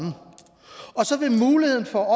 og så vil muligheden for